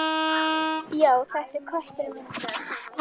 Já, þetta er kötturinn minn sagði konan.